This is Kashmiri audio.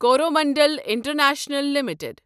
Coromandel international limited